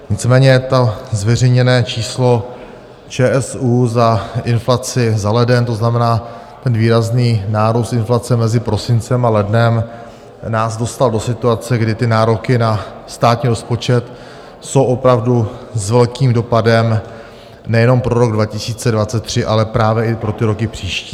Nicméně to zveřejněné číslo ČSÚ za inflaci za leden, to znamená ten výrazný nárůst inflace mezi prosincem a lednem, nás dostal do situace, kdy ty nároky na státní rozpočet jsou opravdu s velkým dopadem nejenom pro rok 2023, ale právě i pro ty roky příští.